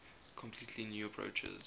completely new approaches